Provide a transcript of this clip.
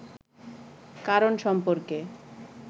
কারণ সম্পর্কে